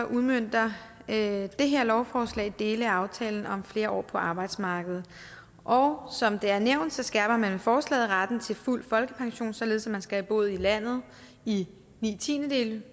udmønter det her lovforslag dele af aftalen om flere år på arbejdsmarkedet og som det er nævnt skærper man med forslaget retten til fuld folkepension således at man skal have boet i landet i ni tiendedele